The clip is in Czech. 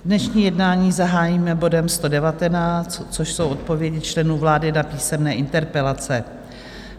Dnešní jednání zahájíme bodem 119, což jsou odpovědi členů vlády na písemné interpelace.